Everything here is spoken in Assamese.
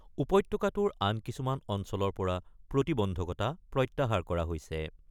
উপত্যকাটোৰ আন কিছুমান অঞ্চলৰ পৰা প্ৰতিবন্ধকতা প্ৰত্যাহাৰ কৰা হৈছে ।